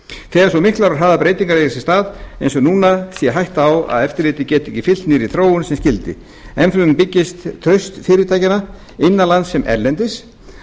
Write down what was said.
þegar svo miklar og hraðar breytingar eiga sér stað eins og núna sé hætta á að eftirlitið geti ekki fylgt nýrri þróun sem skyldi enn fremur byggist traust fyrirtækjanna innan lands sem erlendis